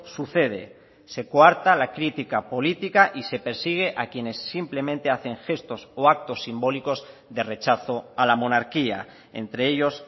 sucede se coarta la crítica política y se persigue a quienes simplemente hacen gestos o actos simbólicos de rechazo a la monarquía entre ellos